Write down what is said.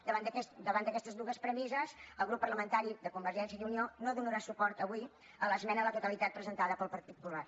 davant d’aquestes dues premisses el grup parlamentari de convergència i unió no donarà suport avui a l’esmena a la totalitat presentada pel partit popular